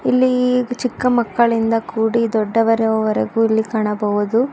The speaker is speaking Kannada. ಇಲ್ಲಿ ಚಿಕ್ಕ ಮಕ್ಕಳಿಂದ ದೊಡ್ಡವರವರೆಗೂ ಕಾಣಬಹುದು.